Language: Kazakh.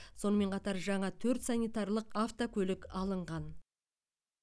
сонымен қатар жаңа төрт санитарлық автокөлік алынған